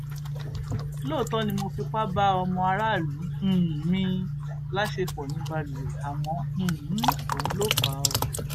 lóòótọ ni mo fipá bá ọmọ aráàlú um mi láṣepọ ní balùwẹ àmọ um òun ló fà á o